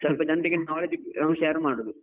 ಸ್ವಲ್ಪ ಜನ್ರಿಗೆ knowledge share ಮಾಡುದು.